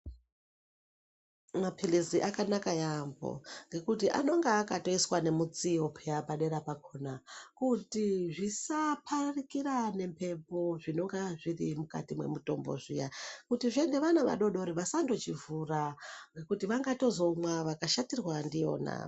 Maphirizi akanaka yaamho ngekuti anenge akatoiswa nemutsiyo peyani padera pakhona kuti zvisaparakira nemhepo zvinenge zviri mukati mwemutombo zviya kutizve ana vadoodori vasandochivhura ngekuti vangazomwa vangatozoshatirwa ndiyona.